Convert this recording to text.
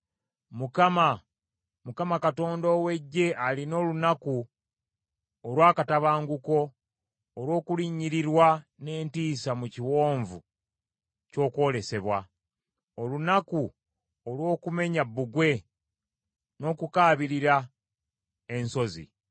Mukama, Mukama Katonda ow’Eggye alina olunaku olw’akatabanguko, olw’okulinyirirwa n’entiisa mu Kiwonvu ky’Okwolesebwa; olunaku olw’okumenya bbugwe, n’okukaabirira ensozi.